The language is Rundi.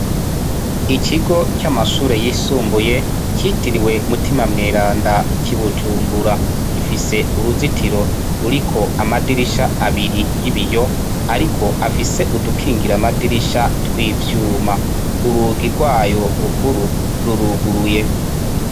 Ikigo c'amashure yisumbuye citiriwe mutima mweranda c'ibujumbura, gifise uruzitiro ruriko amadirisha abiri y'ibiyo ariko afise udukingir'amadirisha tw'ivyuma, urugo rwayo rukuru ruruguruye.